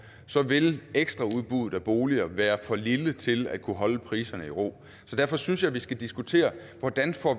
så vil ekstraudbuddet af boliger være for lille til at kunne holde priserne i ro derfor synes jeg vi skal diskutere hvordan